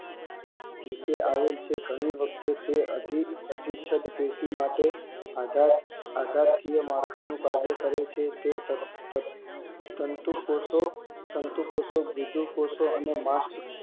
નીચે આવેલ છે ઘણી વખતે તે અધિચ્છદ પેશી માટે આધારકીય માળખાનું કાર્ય કરે છે તંતુ કોષો તંતુ કોષો ગુડુ કોષો અને માસ